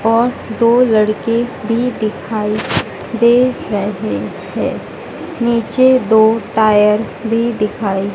और दो लड़के भी दिखाई दे रहे हैं नीचे दो टायर भी दिखाई--